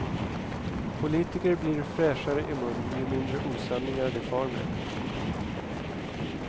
Politiker blir fräschare i munnen ju mindre osanningar de far med.